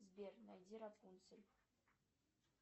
сбер найди рапунцель